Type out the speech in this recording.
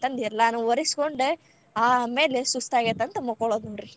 ಎಲ್ಲಾನು ಒರಿಸ್ಕೊಂಡ್ ಆಮೇಲೆ ಸುಸ್ತ್ ಆಗೇತಂದ್ ಮಕ್ಕೋಳುದ್ ನೋಡ್ರಿ.